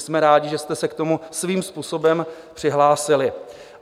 Jsme rádi, že jste se k tomu svým způsobem přihlásili.